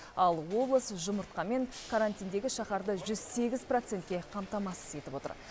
ал облыс жұмыртқамен карантиндегі шаһарды жүз сегіз процентке қамтамасыз етіп отыр